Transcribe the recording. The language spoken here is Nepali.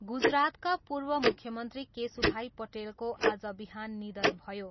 गुजरातका पूर्व मुख्यमन्त्री केशुभाइ पटेलको आज बिहान निधन भयो।